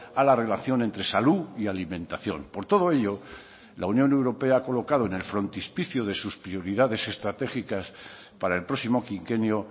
a la relación entre salud y alimentación por todo ello la unión europea ha colocado en el frontispicio de sus prioridades estratégicas para el próximo quinquenio